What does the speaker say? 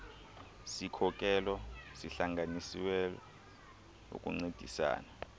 sikhokelo sihlanganiselwe ukuncediasana